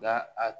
Nga a